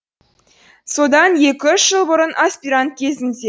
содан екі үш жыл бұрын аспирант кезімде